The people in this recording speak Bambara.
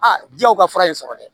Aa jaw ka fura ye sɔrɔ dɛ